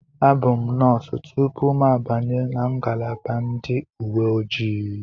Abụ m nọọsụ tupu m abanye na ngalaba ndị uwe ojii.